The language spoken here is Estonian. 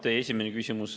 Teie esimene küsimus.